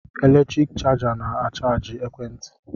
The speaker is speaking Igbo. Eletriki chaja na-achajị ekwe nti